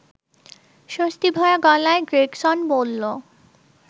স্বস্তি ভরা গলায় গ্রেগসন বলল